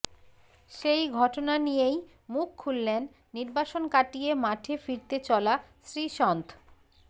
সেই ঘটনা নিয়েই মুখ খুললেন নির্বাসন কাটিয়ে মাঠে ফিরতে চলা শ্রীসন্থ